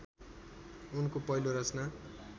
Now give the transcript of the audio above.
उनको पहिलो रचना